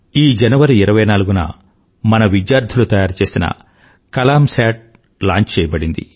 ఈ జనవరి 24న మన విధ్యార్థులు తయారు చేసిన కలామ్ సేట్ లాంచ్ చెయ్యబడింది